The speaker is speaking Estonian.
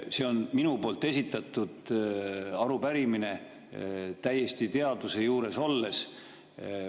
See on minu esitatud arupärimine, esitatud täiesti teadvuse juures olles.